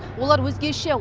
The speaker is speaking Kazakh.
олар өзгеше